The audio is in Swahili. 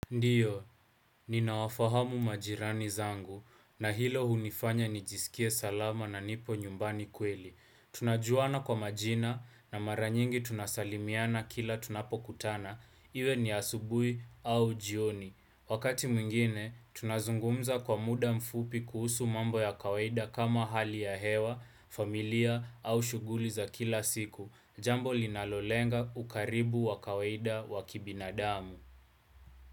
Ndiyo, ninawafahamu majirani zangu, na hilo hunifanya nijisikie salama na nipo nyumbani kweli. Tunajuana kwa majina, na mara nyingi tunasalimiana kila tunapokutana, iwe ni asubui au jioni. Wakati mwingine, tunazungumza kwa muda mfupi kuhusu mambo ya kawaida kama hali ya hewa, familia au shughuli za kila siku, jambo linalolenga ukaribu wa kawaida wakibinadamu.